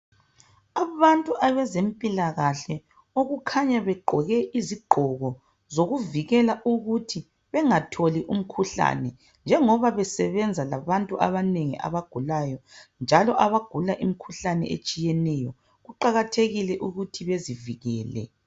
Abantu abezempilakahle okukhanya begqoke izigqoko zokuvikela ukuthi bengatholi umkhuhlane njengoba besebenza labantu abagulayo njalo abagula imikhuhlane etshiyeneyo. Kuqakathekile ukuthi bazivikele.